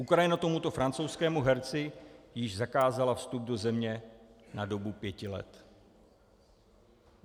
Ukrajina tomuto francouzskému herci již zakázala vstup do země na dobu pěti let.